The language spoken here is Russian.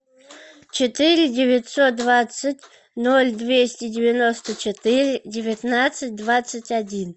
четыре девятьсот двадцать ноль двести девяносто четыре девятнадцать двадцать один